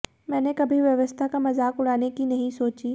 मैंने कभी व्यवस्था का मजाक उड़ाने की नहीं सोची